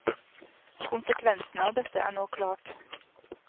Konsekvensene av dette er nå klart.